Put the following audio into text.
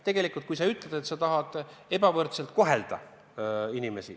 Tegelikult sa tahad inimesi ebavõrdselt kohelda.